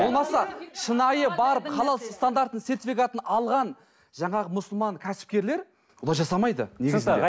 болмаса шынайы барып халал стандартының сертификатын алған жаңағы мұсылман кәсіпкерлер бұлай жасамайды негізінде